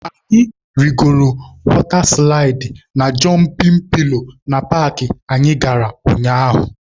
Anyị rigoro wọta silaịdị na jọmpịn pilo na paakị anyị gara ụnyaahụ.